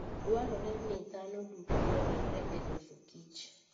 Dwarore ni dhano duto oriwre e loso kich.